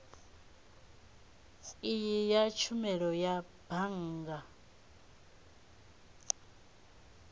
iyi ya tshumelo ya bannga